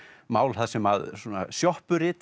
mál þar sem svona